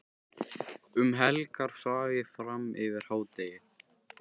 Um helgar svaf ég fram yfir hádegi.